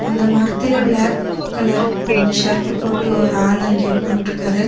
அந்த மரத்துல black colour நி ஷர்ட் போட்டு ஒரு ஆள் அங்கே உக்காண்ட்ருக்காரு.